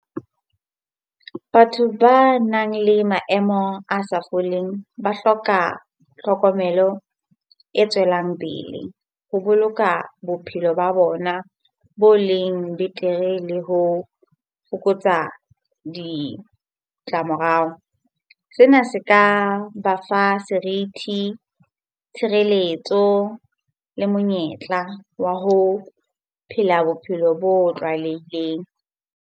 Batho banang le maemo a sa foleng ba hloka tlhokomelo e tswelang pele ho boloka bophelo ba bona bo leng betere le ho fokotsa ditlamorao. Sena se ka ba fa serithi, tshireletso le monyetla wa ho phela bophelo bo tlwaelehileng.